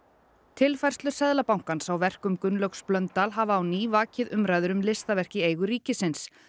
tilfærslur Seðlabankans á verkum Gunnlaugs Blöndal hafa á ný vakið umræður um listaverk í eigu ríkisins